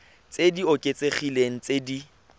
tse di oketsegileng tse di